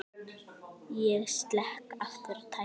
Ég slekk aftur á tækinu.